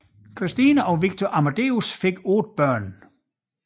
Christine og Viktor Amadeus fik otte børn